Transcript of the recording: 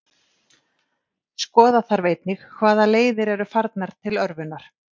Skoða þarf einnig hvaða leiðir eru farnar til örvunar.